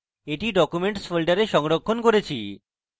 আমি এটি documents folder সংরক্ষণ করেছি